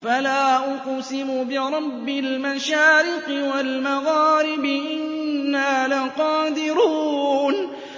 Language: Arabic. فَلَا أُقْسِمُ بِرَبِّ الْمَشَارِقِ وَالْمَغَارِبِ إِنَّا لَقَادِرُونَ